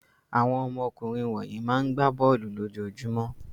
Àwọn ọmọkùnrin wọ̀nyí máa ń gbá bọ́ọ́lù lójoojúmọ́.